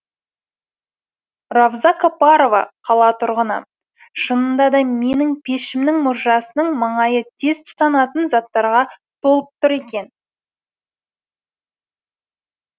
равза капарова қала тұрғыны шынында да менің пешімнің мұржасының маңайы тез тұтанатын заттарға толып тұр екен